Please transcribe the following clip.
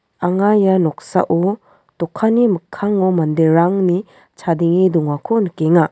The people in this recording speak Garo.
anga ia noksao dokanni mikkango manderangni chadenge dongako nikenga.